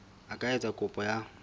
a ka etsa kopo ya